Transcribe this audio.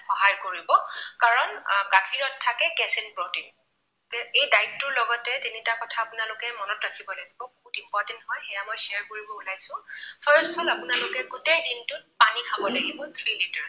সহায় কৰিব। কাৰণ গাখীৰত থাকে casein protein এই diet টোৰ লগতে তিনিটা কথা আপোনালোকে মনত ৰাখিব লাগিব। বহুত important হয়, সেয়া মই share কৰিব ওলাইছো। first হল আপোনালোকে গোটেই দিনটোত পানী খাব লাগিব three litres